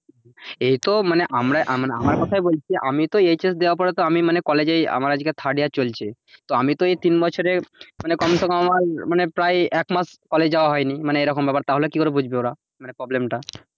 এইতো মানে আমরা আমার কথাই বলছি আমি তো HS দেয়ার পরে আমি তো মানে college আমার আজকে third year চলছে আমি তো এই তিন বছরে মানে কমসে কম আমার প্রায় এক মাস college যাওয়া হয়নি মানে এরকম ব্যাপার। তাহলে ও কি করে বুঝবে ওরা মানে problem টা,